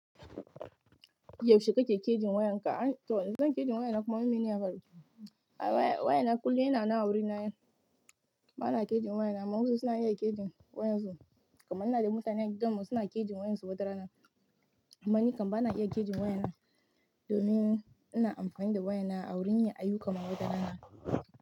Yaushe kake kejin wayan ka? To zan keji wayana kuma wai mene ya faru. Wayana kullum yana na auri na. Bana kejin wayana amma wasu suna iya kejin waƴansu. Kaman ina da mutane a gidan mu suna kejin waƴansu watarana. Amma ni kam bana iya kejin wayana domin ina amfani da wayana a wurin yin ayyuka kamar wata rana.